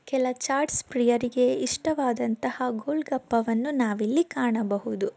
ಕೆಲ ಚಾಟ್ಸ್ ಪ್ರೀಯರಿಗೆ ಇಷ್ಟವದಂತಹ ಗೋಲ್ಗಪ್ಪವನ್ನು ನಾವಿಲ್ಲಿ ಕಾಣಬಹುದು.